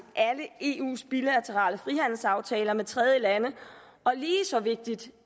alle eus bilaterale frihandelsaftaler med tredjelande og lige så vigtigt